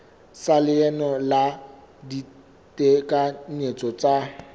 sa leano la ditekanyetso tsa